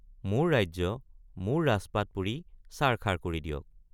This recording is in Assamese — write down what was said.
মোৰ ৰাজ্য মোৰ ৰাজপাট পুৰি ছাৰ খাৰ কৰি দিয়ক।